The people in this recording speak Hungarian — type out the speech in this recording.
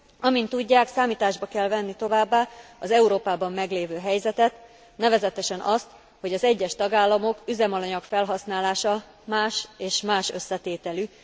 Amint tudják, számításba kell venni továbbá az Európában meglévő helyzetet, nevezetesen azt, hogy az egyes tagállamok üzemanyag felhasználása más és más összetételű.